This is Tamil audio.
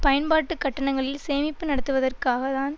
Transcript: பயன்பாட்டுக் கட்டணங்களில் சேமிப்பு நடத்துவதற்காக தான்